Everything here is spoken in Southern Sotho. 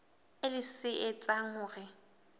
e leng se etsang hore